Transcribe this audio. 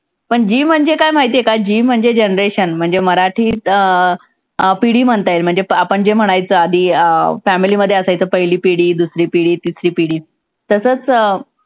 पण G म्हणजे काय माहिती आहे का? G म्हणजे generation म्हणजे मराठीत अं अं पिढी म्हणता येईल. म्हणजे आपण जे म्हणायचं आधी अं family मध्ये असायचं पहिली पिढी, दुसरी पिढी, तिसरी पिढी तसंच